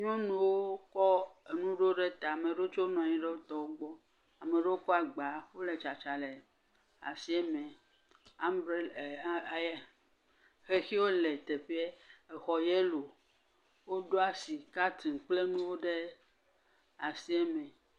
Nyɔnuwo kɔ enu ɖo ɖe ta, ame ɖewo tsɛ nɔ anyi ɖe wo tɔ wogbɔ, ame ɖewo kɔ agba, wole tsatsam le asia me. Ambrer… aaer xexiwo le teƒee, exɔ yelo, woɖo asi katin kple nuwo ɖe asie me.